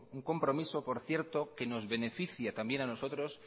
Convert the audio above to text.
un compromiso por cierto que nos beneficia también a nosotros